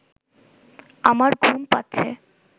আমার ঘুম পাচ্ছে